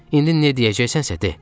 İndi nə deyəcəksənsə de.